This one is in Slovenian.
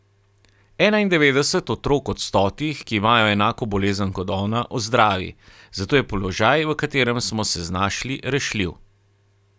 Enaindevetdeset otrok od stotih, ki imajo enako bolezen kot ona, ozdravi, zato je položaj, v katerem smo se znašli, rešljiv.